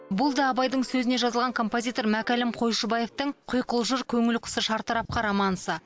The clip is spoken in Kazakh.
бұл да абайдың сөзіне жазылған композитор мәкәлім қойшыбаевтың құйқылжыр көңіл құсы шартарапқа романсы